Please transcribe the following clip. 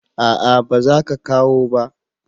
A'a ba za kawo ba